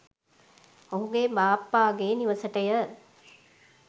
ඔහුගේ බාප්පාගේ නිවසටය.